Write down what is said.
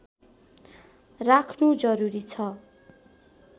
राख्नु जरुरी छ